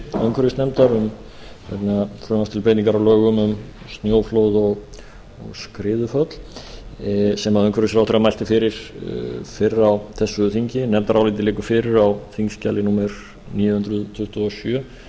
nefndaráliti umhverfisnefndar um frumvarp til breytinga á lögum um snjóflóð og skriðuföll sem umhverfisráðherra mælti fyrir fyrr á þessu þingi en nefndarálitið liggur fyrir á þingskjali númer níu hundruð tuttugu og sjö og geta